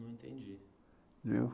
Não entendi.